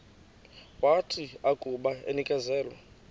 wathi akuba enikezelwe